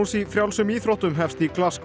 í frjálsum íþróttum hefst í